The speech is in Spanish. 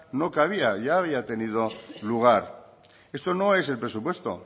no cabía ya había tenido lugar esto no es el presupuesto